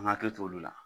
An hakili t'olu la